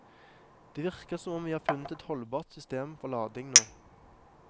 Det virker som om vi har funnet et holdbart system for lading nå.